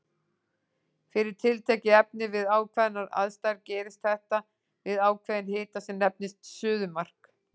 Fyrir tiltekið efni við ákveðnar aðstæður gerist þetta við ákveðinn hita sem nefnist suðumark.